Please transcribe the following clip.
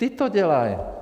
Ti to dělají.